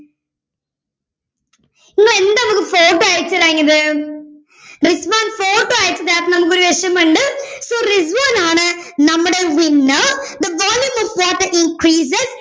നിങ്ങളെന്താണ് ഞമ്മക്ക് photo അയച്ച്തരാഞ്ഞത് റിസ്‌വാൻ ഫോട്ടോ അയച്ചു തരണം ഒരു so റിസ്വാനാണ് നമ്മുടെ winner the volume of water increases